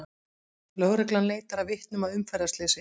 Lögreglan leitar að vitnum að umferðarslysi